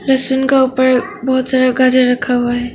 लहसुन का ऊपर बहुत सारा गाजर रखा हुआ है।